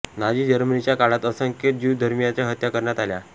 Nazi जर्मनीच्या काळात असंख्य ज्यु धर्मीयाची हत्या करण्यात आल्या